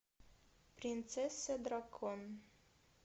принцесса дракон